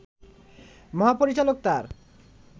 মহাপরিচালক তাঁর